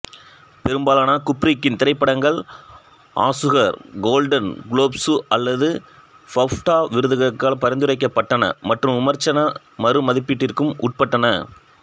பெரும்பாலான குப்ரிக்கின் திரைப்படங்கள் ஆசுகார் கோல்டன் குளோப்சு அல்லது பாஃப்டா விருதுகளுக்காகப் பரிந்துரைக்கப்பட்டன மற்றும் விமர்சன மறுமதிப்பீட்டிற்கும் உட்பட்டன